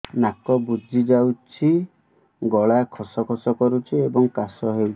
ନାକ ବୁଜି ଯାଉଛି ଗଳା ଖସ ଖସ କରୁଛି ଏବଂ କାଶ ହେଉଛି